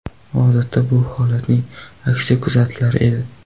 Odatda bu holatning aksi kuzatilar edi.